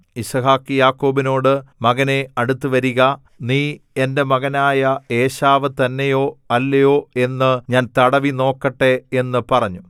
യിസ്ഹാക്ക് യാക്കോബിനോട് മകനേ അടുത്തുവരിക നീ എന്റെ മകനായ ഏശാവ് തന്നെയോ അല്ലയോ എന്നു ഞാൻ തടവി നോക്കട്ടെ എന്നു പറഞ്ഞു